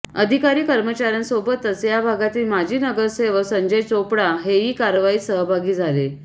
अधिकारी कर्मचाऱ्यांसोबतच या भागातील माजी नगरसेवक संजय चोपडा हेही कारवाईत सहभागी झाले